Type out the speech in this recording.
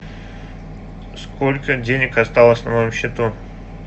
сколько денег осталось на моем счету